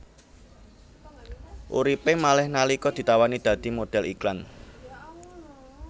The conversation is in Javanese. Uripé malih nalika ditawani dadi modhél iklan